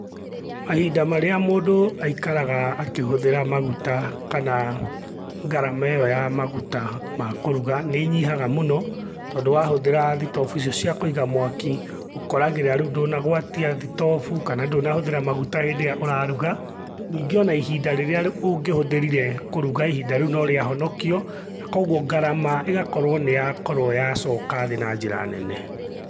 Mahinda marĩa mũndũ aikaraga akihũthĩra maguta kana ngarama ĩ yo ya maguta ma kũruga nĩ ĩnyihaga mũno tondũ wa hũthĩra thitobu icio cia kũiga mwaki ũkoragĩrĩra rĩũ ndũnagũatia thitobu kana ndũnahũthĩra maguta hĩndĩ ĩrĩa ũraruga. Ningĩ o na ihinda rĩrĩa ũngĩhũthĩrire kũruga ihinda rĩu no rĩa honokio, na koguo ngarama igakorwo nĩ yakorwo yacoka thĩ na njĩra nene.